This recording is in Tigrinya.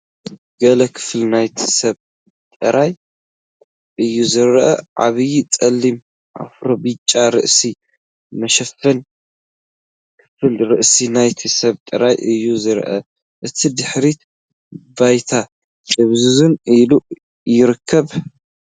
ገለ ክፋል ናይቲ ሰብ ጥራይ እዩ ዝረአ፤ ዓቢይ ጸሊም ኣፍሮ። ብጫ ርእሲ መሸፈኒ ። ክፋል ርእሲ ናይቲ ሰብ ጥራይ እዩ ዝረአ፤ እቲ ድሕረ ባይታ ድብዝዝ ኢሉ ይርከብ።